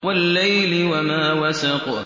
وَاللَّيْلِ وَمَا وَسَقَ